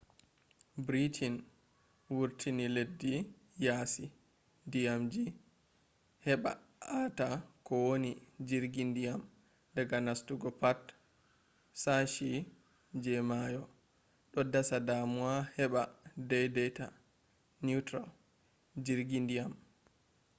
britain vurtinileddi yasi dyamji heba ata kowani jirgi diyam daga nastugo pat shashi je mayo do dasa damuwa heba daidaita neutral jirgi diyam